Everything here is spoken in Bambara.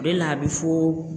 O de la a bɛ fo.